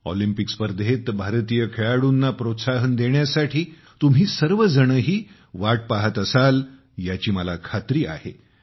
Olympic स्पर्धेत भारतीय खेळाडूंना प्रोत्साहन देण्यासाठी तुम्ही सर्वजणही वाट पाहत असाल याची मला खात्री आहे की